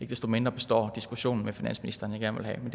desto mindre består diskussionen med finansministeren